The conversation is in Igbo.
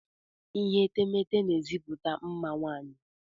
Ihe etemeete n'ezipụta mma nwaanyị.